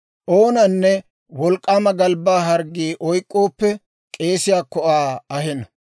«Oonanne wolk'k'aama galbbaa harggii oyk'k'ooppe, k'eesiyaakko Aa ahino.